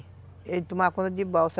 Ele tomava conta de balsa.